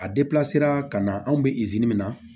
A ka na anw bɛ min na